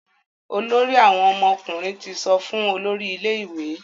Olórí àwọn ọmọkùnrin tí sọfún olórí ilé ìwé.